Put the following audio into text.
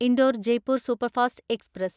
Indore Jaipur superfast express